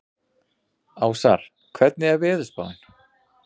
Ásar, hvernig er veðurspáin?